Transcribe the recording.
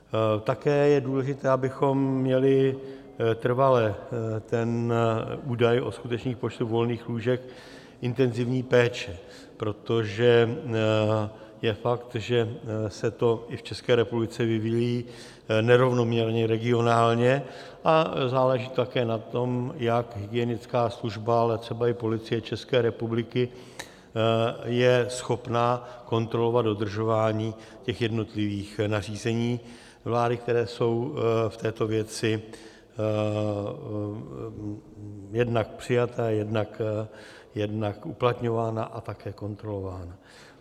Také je důležité, abychom měli trvale ten údaj o skutečných počtech volných lůžek intenzivní péče, protože je fakt, že se to i v České republice vyvíjí nerovnoměrně regionálně, a záleží také na tom, jak hygienická služba, ale třeba i Policie České republiky je schopna kontrolovat dodržování těch jednotlivých nařízení vlády, která jsou v této věci jednak přijata, jednak uplatňována a také kontrolována.